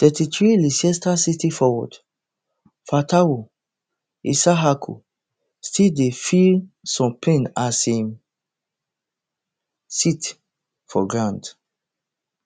thirty-threeleicester city forward fatawu issahaku still dey feel some pain as im sit for ground